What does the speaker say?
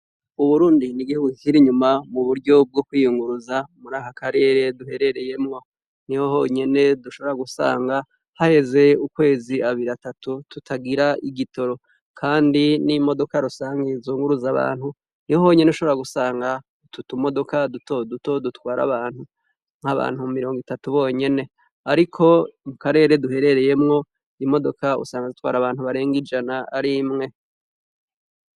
Uburundi ni igihugu kikiri inyuma mu buryo bwo kwiyunguruza muri aka karere duherereyemwo. Niho honyene dushobora gusanga hahezi ukwezi abiri atatu tutagira igitoro. Kandi n'imodoka rusangi zunguruza abantu niho honyene ushobora gusanga utu tumodoka dutoduto dutwara abantu, nk'abantu mirongo itatu bonyene. Ariko mu karere duherereyemwo, imodoka usanga zitwara abantu barenga ijana ari imwe.